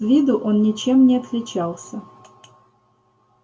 с виду он ничем не отличался